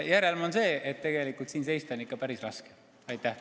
Minu mulje on see, et tegelikult on siin ikka päris raske seista.